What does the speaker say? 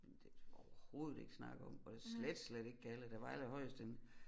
Men det overhovedet ikke snakke om og det slet slet ikke galla der var allerhøjest en